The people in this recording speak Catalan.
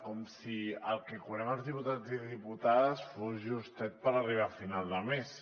com si el que cobrem els diputats i diputades fos justet per arribar a final de mes